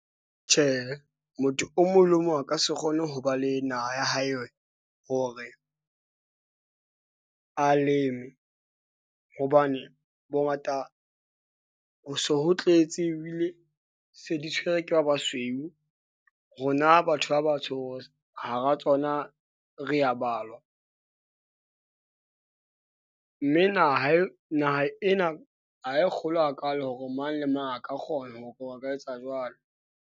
Tjhehe, motho o mong le o mong a ka se kgone ho ba le naha ya hae, hore a leme, hobane bo ngata ho se ho tletse ebile, se di tshwerwe ke ba basweu. Rona batho ba batsho hara tsona re ya balwa . Mme naha naha ena ha e kgolo hakaalo hore mang le mang a ka kgona hore ba ka etsa jwalo.